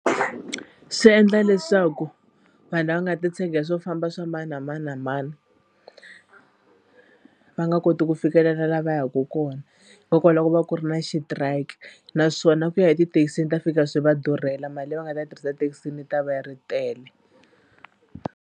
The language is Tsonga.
Swi endla leswaku vanhu lava nga titshegela hi swo famba swa mani na mani na mani va nga koti ku fikelela la va yaka kona hikokwalaho ko va ku ri na strike naswona ku ya etithekisini ta fika swi va durhela mali leyi va nga ta tirhisa thekisini yi ta va yi ri tele.